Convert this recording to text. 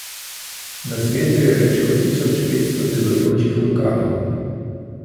Na svetu je več kot tisoč petsto delujočih vulkanov.